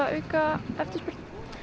auka eftirspurn